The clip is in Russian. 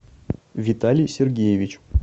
виталий сергеевич